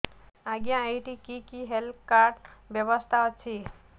ଆଜ୍ଞା ଏଠି କି କି ହେଲ୍ଥ କାର୍ଡ ବ୍ୟବସ୍ଥା ଅଛି